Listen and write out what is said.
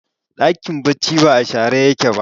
dakin bacci ba a share ba